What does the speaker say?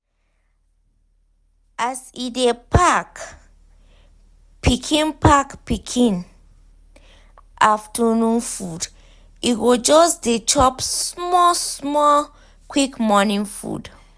as e dey pack pikin pack pikin afternoon food e go just dey chop small small quick morning food.